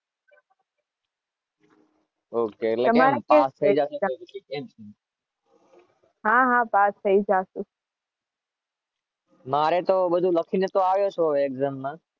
Pass થઈ જાવ?